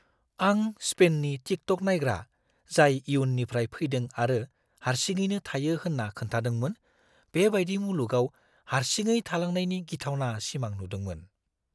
आं स्पेननि टिकट'क नायग्रा जाय इयुननिफ्राय फैदों आरो हारसिङैनो थायो होन्ना खोनथादोंमोन, बे बायदि मुलुगाव हारसिङै थालांनायनि गिथावना सिमां नुदोंमोन।